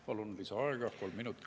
Palun lisaaega kolm minutit.